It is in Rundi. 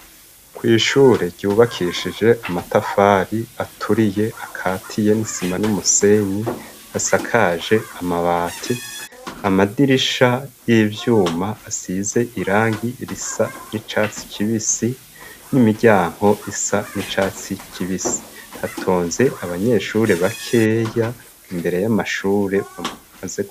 kw'ishure ryubakishije amatafari aturiye akatiye n'isima n'umusenyi hasakaje amabati amadirisha y'ivyuma asize irangi risa n'icatsi kibisi nimiryango isa n'icatsi kibisi hatonze abanyeshure bakeya imbere y'amashure bamaze